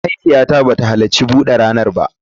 Mahaifiyata ba ta halarci bude ranar ba